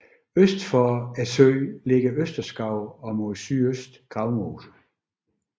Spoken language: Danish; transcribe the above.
Øst for søen ligger Østerskov og mod sydøst Gravmose